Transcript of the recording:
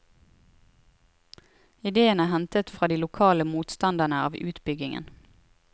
Idéen er hentet fra de lokale motstanderne av utbyggingen.